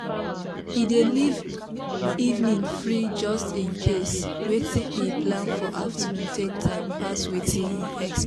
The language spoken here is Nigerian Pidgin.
e dey leave evening free just in case watin e plan for afternoon take time pass watin e expect